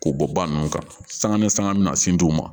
K'o bɔ ba ninnu kan sanga ni sanga mina sin di u ma